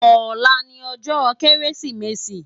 Òlá ni òjò Kérésimési